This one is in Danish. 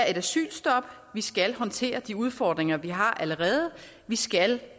et asylstop vi skal håndtere de udfordringer vi har allerede vi skal